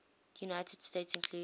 united states include